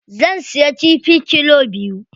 Zan siya kifi kilo biyu.